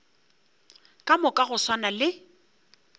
ka moka go swana le